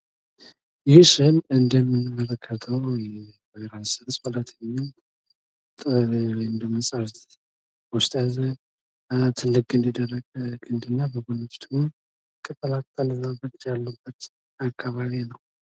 ይህ ምስል እንደምንመለከተው የወይራ ስል ፀሎት በሚል እርእስ የተፃፈ የግጥም መድብል ነው። እናንተ ይሄን ግጥም አንብባችሁታል?